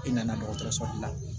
E nana dɔgɔtɔrɔso bila